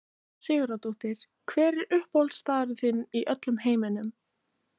Jóhanna Sigurðardóttir Hver er uppáhaldsstaðurinn þinn í öllum heiminum?